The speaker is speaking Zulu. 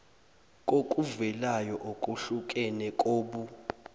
kokuvelayo okuhlukene kobuh